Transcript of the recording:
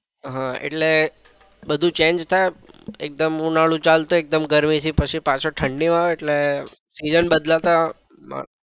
હા એટલે બધું change થાય એકદમ ઉનાળો ચાલતું હોય એકદમ ગરમી થી પછી પાછું ઠંડી માં આવે એટલે season બદલાતા